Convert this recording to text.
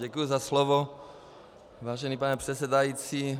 Děkuji za slovo, vážený pane předsedající.